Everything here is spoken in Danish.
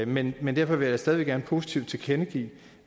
men men jeg vil da stadig væk gerne positivt tilkendegive